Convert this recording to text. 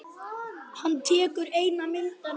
Hann tekur eina myndina upp.